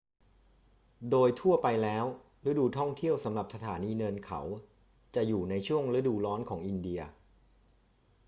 โดยทั่วไปแล้ว ฤดูท่องเที่ยวสำหรับสถานีเนินเขาจะอยู่ในช่วงฤดูร้อนของอินเดีย